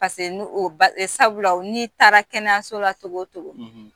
sabula n'i taara kɛnɛyaso la cogo o cogo